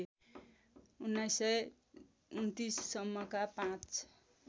१९२९ सम्मका पाँच